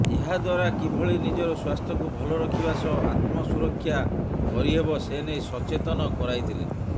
ଏହାଦ୍ବାରା କିଭଳି ନିଜର ସ୍ବାସ୍ଥ୍ୟକୁ ଭଲ ରଖିବା ସହ ଆତ୍ମ ସୁରକ୍ଷା କରିହେବ ସେନେଇ ସଚେତନ କରାଇଥିଲେ